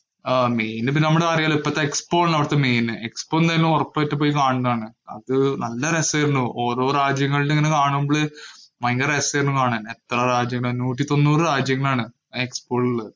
main ഇപ്പോ അറിയാലോ. നമ്മുടെ expo അതിനകത്ത് main തന്നെ ഒറപ്പായിട്ടും പോയി കാണേണ്ടതാണ്. അത് നല്ല രസായിരുന്നു. ഓരോ രാജ്യങ്ങളുടെ ഇങ്ങനെ കാണുമ്പോള് ഭയങ്കര രസായിരുന്നു കാണാന്‍. എത്ര രാജ്യങ്ങളായിരുന്നു. നൂറ്റി തൊണ്ണൂറു രാജ്യങ്ങളാണ്‌ ആ expo യിലുള്ളത്.